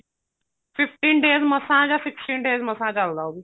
fifteen days ਮਸਾਂ ਜਾਂ sixteen days ਮਸਾਂ ਚੱਲਦਾ ਉਹ ਵੀ